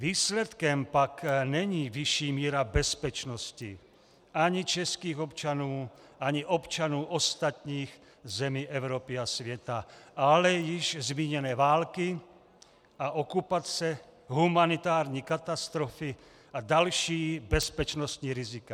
Výsledkem pak není vyšší míra bezpečnosti ani českých občanů, ani občanů ostatních zemí Evropy a světa, ale již zmíněné války a okupace, humanitární katastrofy a další bezpečnostní rizika.